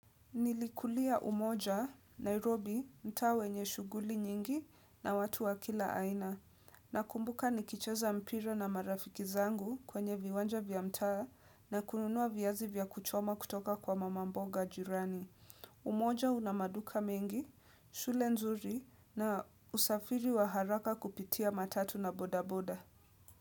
Nilikulia umoja, Nairobi, mtaa wenye shughuli nyingi na watu wa kila aina. Nakumbuka nikicheza mpira na marafiki zangu kwenye viwanja vya mtaa na kununua viazi vya kuchoma kutoka kwa mamamboga jirani. Umoja una maduka mengi, shule nzuri na usafiri wa haraka kupitia matatu na bodaboda.